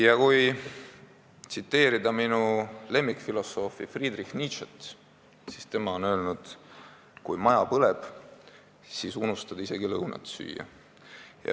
Ja kui tsiteerida minu lemmikfilosoofi Friedrich Nietzschet, siis tema on öelnud: "Kui maja põleb, siis unustad isegi lõunat süüa.